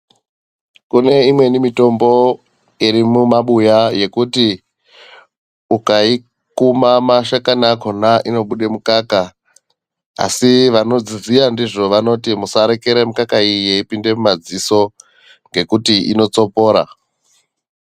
Kune imweni mitombo iri mumabuya yekuti ukayikuma mashakani akona, inobude mukaka, asi vanodziziya ndizvo vanoti musarekera mukaka iyi yeyipinde mumadziso ngekuti inotsopora.